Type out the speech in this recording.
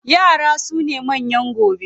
Yara sune manyan gobe.